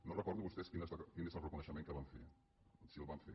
no recordo vostès quin és el reconeixement que van fer si el van fer